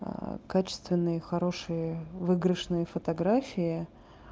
качественные хорошие выигрышные фотографии